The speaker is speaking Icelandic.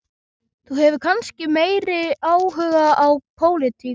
Þú hefur kannski meiri áhuga á pólitík?